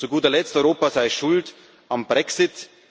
Und zu guter Letzt Europa sei schuld am Brexit.